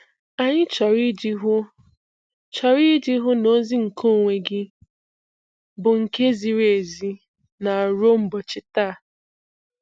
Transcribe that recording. Anyị chọrọ iji hụ chọrọ iji hụ na ozi nkeonwe gị bụ nke ziri ezi na ruo ụbọchị taa.